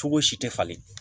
Cogo si tɛ falen